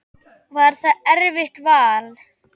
Var það erfitt vall?